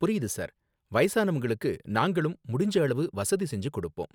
புரியுது சார். வயசானவங்களுக்கு நாங்களும் முடிஞ்ச அளவு வசதி செஞ்சு கொடுப்போம்